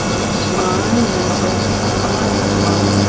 आसमान नजर आ रहा है।